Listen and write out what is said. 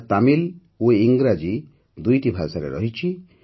ଏହା ତାମିଲ ଓ ଇଂରାଜୀ ଦୁଇଟି ଭାଷାରେ ରହିଛି